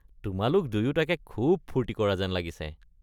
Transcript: তোমালোক দুয়োটাকে খুব ফূৰ্তি কৰা যেন লাগিছে।